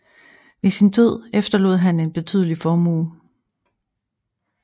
Ved sin død efterlod han sig en betydelig formue